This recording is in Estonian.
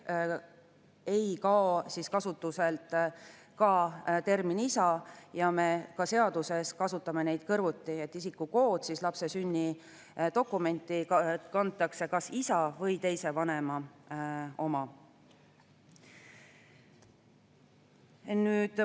Ei kao kasutuselt ka termin "isa", me ka seaduses kasutame neid kõrvuti: lapse sünnidokumenti kantakse kas isa või teise vanema isikukood.